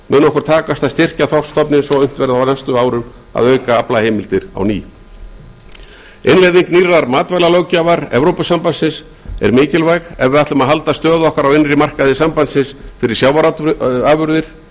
okkur takast að styrkja þorskstofninn svo unnt verði á næstu árum að auka aflaheimildir á ný innleiðing nýrrar matvælalöggjafar evrópusambandsins er mikilvæg ef við ætlum að halda stöðu okkar á innri markaði sambandsins fyrir sjávarafurðir